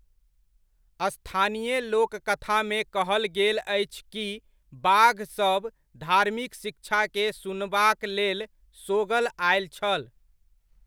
स्थानीय लोककथामे कहल गेल अछि कि बाघ सब धार्मिक शिक्षाकेँ सुनबाक लेल सोगल आयल छल।